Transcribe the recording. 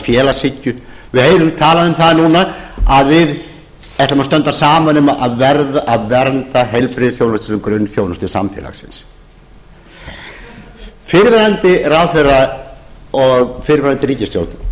félagshyggju að við ætlum að standa saman um að vernda heilbrigðisþjónustuna grunnþjónustu samfélagsins fyrrverandi ráðherra og fyrrverandi ríkisstjórn